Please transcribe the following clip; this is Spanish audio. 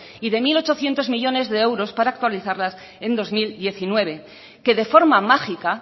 y de mil ochocientos millónes de euros para actualizarlas en dos mil diecinueve que de forma mágica